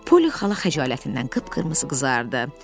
Poli xala xəcalətindən qıpqırmızı qızardı.